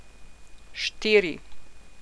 Štiri.